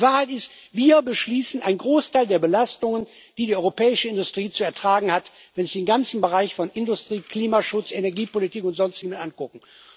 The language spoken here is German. Die Wahrheit ist Wir beschließen einen Großteil der Belastungen, die die europäische Industrie zu ertragen hat, wenn Sie den ganzen Bereich von Industrie, Klimaschutz, Energiepolitik und Sonstigem angucken.